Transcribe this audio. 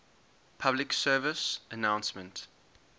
public service announcement